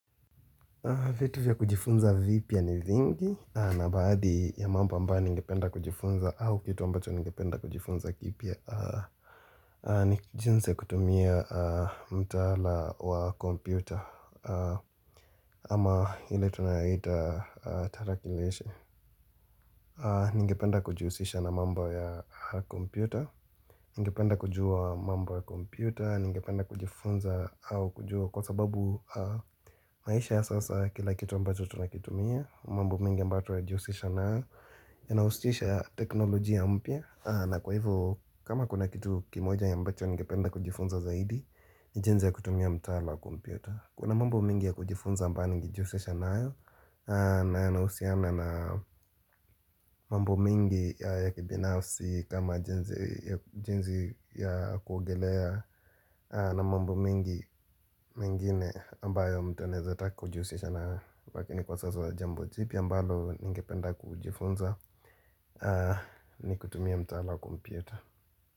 Vitu vya kujifunza vipia ni zingi na baadhi ya mambo ambayo ningependa kujifunza au kitu ambacho ningependa kujifunza kipia. Ni jinsi ya kutumia mtala wa kompyuta ama hile tunayaita. Tarakileshe Ningependa kujiusisha na mambo ya kompyuta. Ningependa kujua mambo ya kompyuta Ningependa kujifunza au kujua Kwa sababu. Maisha ya sasa kila kitu ambacho tunakitumia mambo mingi mbatu ya jiusisha na ya Yinaustisha teknoloji ya mpya na kwa hivo kama kuna kitu kimoja ambacho Ningependa kujifunza zaidi Nijinze ya kutumia mtala wa kompyuta Kuna mambu mingi ya kujifunza mbaa nyingi jiusisha na ya na nausiana na. Mambo mingi ya kibinafsi kama jenzi ya kuogelea na mambo mingi mingine ambayo mtu aneza takujiusisha na wakini kwa sasa jambo tipi ambalo ningependa kujifunza. Ni kutumia mtala wa kompieter.